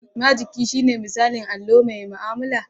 Majigi shine misalin allo mai mu'amala.